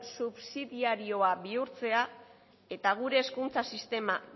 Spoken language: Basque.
subsidiarioa bihurtzea eta gure hezkuntza sistema